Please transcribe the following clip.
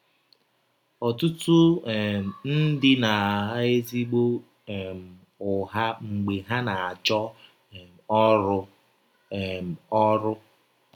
Ọtụtụ um ndị na - agha ezịgbọ um ụgha mgbe ha na - achọ um ọrụ. um ọrụ.